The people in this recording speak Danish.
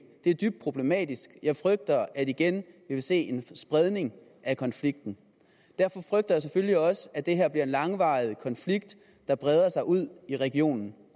det er dybt problematisk jeg frygter at vi igen vil se en spredning af konflikten derfor frygter jeg selvfølgelig også at det her bliver en langvarig konflikt der breder sig ud i regionen